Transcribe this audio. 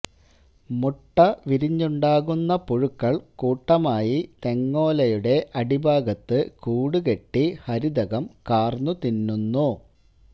മുട്ട വിരിഞ്ഞുണ്ടാകുന്ന പുഴുക്കള് കൂട്ടമായി തെങ്ങോലയുടെ അടിഭാഗത്ത് കൂടുകെട്ടി ഹരിതകം കാര്ന്നു തിന്നുന്നു